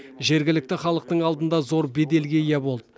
жергілікті халықтың алдында зор беделге ие болды